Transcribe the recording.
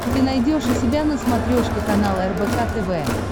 ты найдешь у себя на смотрешке канал рбк тв